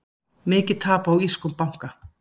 Mikið tap á írskum banka